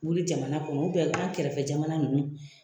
Wuli jamana kɔnɔ an kɛrɛfɛ jamana ninnu